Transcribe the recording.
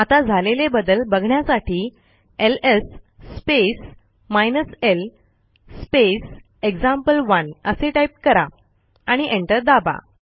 आता झालेले बदल बघण्यासाठी LS space hyphen L space example one असे टाईप कराआणि एंटर दाबा